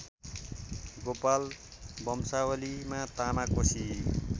गोपाल वंशावलीमा तामाकोशी